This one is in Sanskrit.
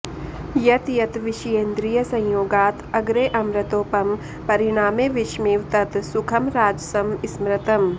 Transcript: यत् तत् विषयेन्द्रियसंयोगात् अग्रे अमृतोपमं परिणामे विषमिव तत् सुखं राजसं स्मृतम्